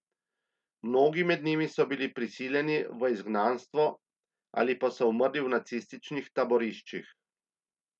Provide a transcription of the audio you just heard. Mnogi med njimi so bili prisliljeni v izgnanstvo ali pa so umrli v nacističnih taboriščih.